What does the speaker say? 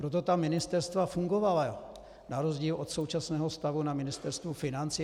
Proto ta ministerstva fungovala na rozdíl od současného stavu na Ministerstvu financí.